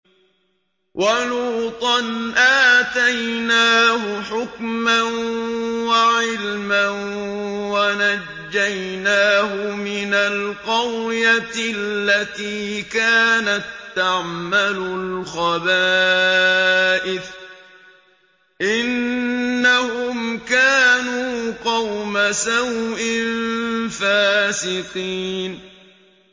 وَلُوطًا آتَيْنَاهُ حُكْمًا وَعِلْمًا وَنَجَّيْنَاهُ مِنَ الْقَرْيَةِ الَّتِي كَانَت تَّعْمَلُ الْخَبَائِثَ ۗ إِنَّهُمْ كَانُوا قَوْمَ سَوْءٍ فَاسِقِينَ